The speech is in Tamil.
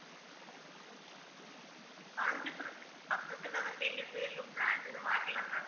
காஞ்சிபுரத்துக்கு பக்கத்துல வந்து எங்களுக்கும் இன்னும் branch எதுவும் வரலை ma'am